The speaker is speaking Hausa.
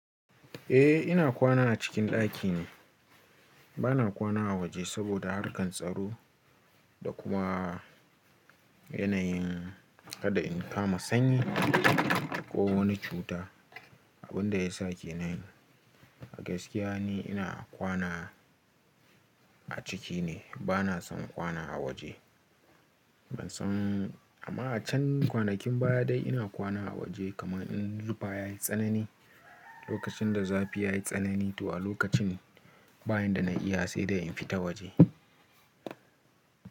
Eh ina kwana a cikin ɗaki ne, bana kwana a waje saboda harkar tsaro da kuma yanayin kada in kama sanyi ko wani cuta. Abin da ya sa ke nan a gaskiya ne ina kwana a ciki ne bana son kwana a waje. Ban son amma a can kwanakin baya dai ina kwana a waje kaman in rufa yayi tsanani, lokacin da zafi yayi tsanani to a lokacin ne bayan da na iya sai da in fita waje.